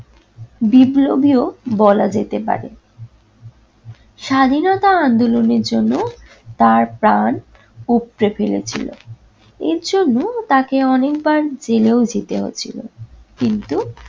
বিপ্লবীও বলা যেতে পারে। স্বাধীনতা আন্দোলনের জন্য তার প্রাণ উপরে ফেলেছিলো। এর জন্য তাকে অনেকবার জেলেও যেতে হয়েছিল। কিন্তু-